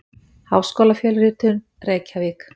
Háskólafjölritun: Reykjavík.